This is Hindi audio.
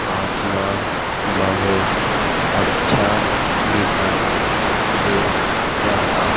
आसमान बहुत अच्छा दिखाई दे रहा--